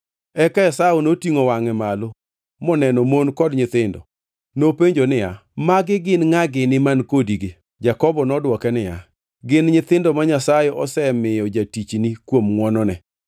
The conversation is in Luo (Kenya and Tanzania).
Eka Esau notingʼo wangʼe malo moneno mon kod nyithindo. Nopenjo niya, “Magi gin ngʼa gini man kodigi?” Jakobo nodwoke niya, “Gin nyithindo ma Nyasaye osemiyo jatichni kuom ngʼwonone.”